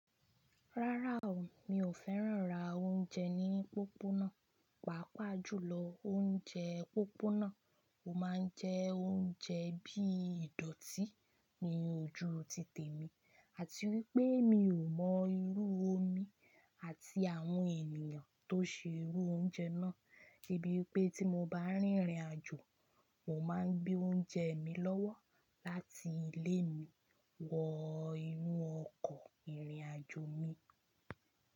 Rárá o, mi ò fẹ́ràn rà oúnjẹ ní pópónà. Pàápàá jùlọ oúnjẹ pópónà ò máa ń jẹ́ oúnjẹ bí ìdọ̀tí ní ojú títe mi, àti wípé mi ò mọ irú omi àti àwọn ènìyàn tó ṣe irú oúnjẹ náà. Débi pé tí mo bá rìnrìnàjò, mo máa ń gbé oúnjẹ mi lọ́wọ́ láti ilé mi wọ inú ọkọ̀ ìrìnàjò mi.